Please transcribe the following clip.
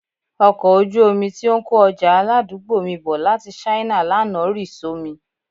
Ọkọ̀ ojú omi tí ó ń kó ọjà aládùúgbò mi bọ̀ láti China lánàá rì só mi